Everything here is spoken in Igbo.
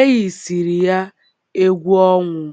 e yisịrị ya egwu ọnwụ.